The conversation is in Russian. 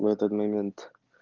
в этот момент